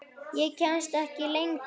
Ég kemst ekki lengra.